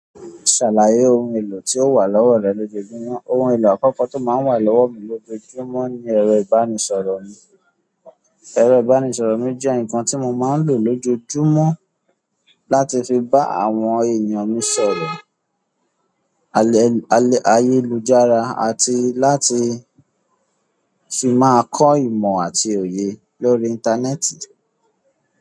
Ṣàlàyé ohun èlò tí o wà lọ́wọ́ rẹ lójojúmọ́. Ohun èlò àkọ́kọ́ tó máa ń wà lọ́wọ́ mi lójojúmọ́ ni ẹ̀rọ ìbánisọ̀rọ̀ mi. Ẹ̀rọ ìbánisọ̀rọ̀ mi jẹ́ nǹkan tí mo máa ń lò lójojúmọ́ láti fi bá àwọn èèyàn mí sọ̀rọ̀, ayélujára àti láti fi máa kọ́ ìmọ̀ àti òye lórí íńtánẹ́ẹ̀tì.